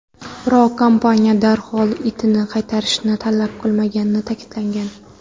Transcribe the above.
Biroq kompaniya darhol itni qaytarishni talab qilmaganini ta’kidlagan.